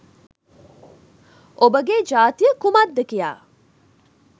ඔබගේ ජාතිය කුමක්ද කියා